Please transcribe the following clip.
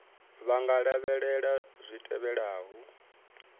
vha nga lavhelela zwi tevhelaho